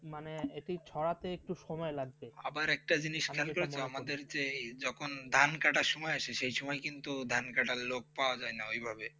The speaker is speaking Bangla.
মানে এটি ছড়াতে একটু সময় লাগছে আবার একটা জিনিস আমাদেরকে এই যখন ধান কটার সময় আসে সেই ছবি কিন্তু ধান কাটার লোক পাওয়া যায় না ওইভাবে